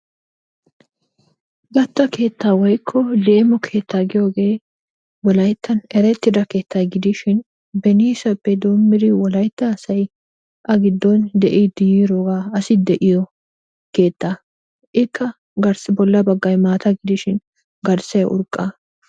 Gatta keettaa woykko leemo keettaa giyogee wolayttan erettida keetta gidishin beniisappe doommidi wolaytta asay A giddon de'iiddi yiiroogaa asi de'iyo keettaa. Ikka bolla baggay maata gidishin garssay urqqa.